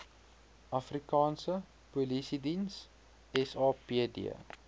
afrikaanse polisiediens sapd